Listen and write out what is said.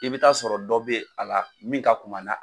I bɛ t'a sɔrɔ dɔ bɛ a la min ka kuma na